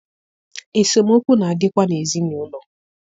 Esemokwu na adịkwa n'ezinaụlọ.